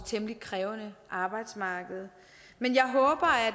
temmelig krævende arbejdsmarked men jeg håber at